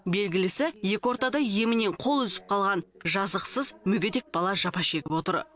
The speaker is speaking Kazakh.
белгілісі екі ортада емінен қол үзіп қалған жазықсыз мүгедек бала жапа шегіп отыр